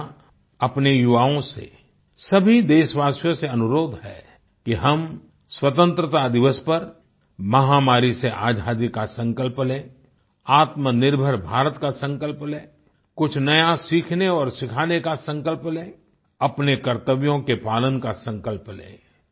मेरा अपने युवाओं से सभी देशवासियों से अनुरोध है कि हम स्वतंत्रता दिवस पर महामारी से आजादी का संकल्प लें आत्मनिर्भर भारत का संकल्प लें कुछ नया सीखने और सिखाने का संकल्प लें अपने कर्त्तव्यों के पालन का संकल्प लें